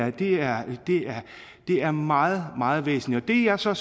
at det her er meget meget væsentligt det jeg så